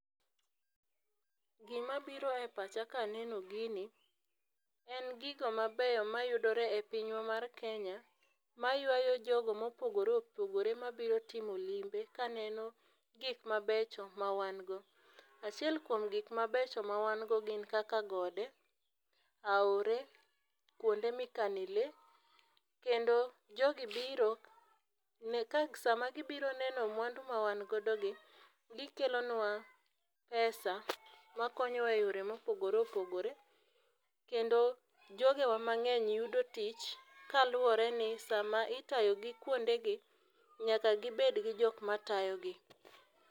Gima biro epacha kaneno gini, en gigo mabeyo mayudore e pinywa mar Kenya, mayuayo jogo mopogore opogore mabiro timo limbe kaneno gik mabecho mawan go. Achiel kuom gik mabecho mawan go gin kaka gode, aore, kuonde mikane lee kendo jogi biro, ne ka sama gibiro neno mwandu mawan godogi, gikelonua pesa makonyowa eyore mopogore opogore, kendo jogewa mang'eny yudo tich kaluwore ni sama itayogi kuondegi, nyaka gibed gi jok matayogi.